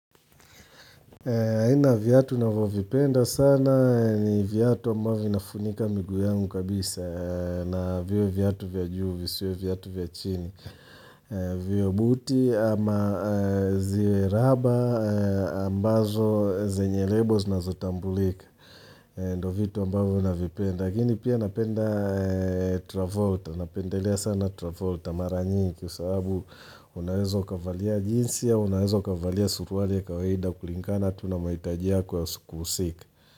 Aina viatu navovipenda sana ni viatu ambavyo vinafunika miguu yangu kabisa na viwe viatu vya juu, visiwe viatu vya chini, viwe buti ama ziwe raba ambazo zenye labels zina zotambulika. Ndo vitu ambavyo navipenda. Lakini pia napenda Travolta, napendelea sana Travolta mara nyingi kwa sababu unaweza ukavalia jinsi, au unawezo ukavalia suruali ya kawaida kulingana, tu na mahitaji yako ya siku husika.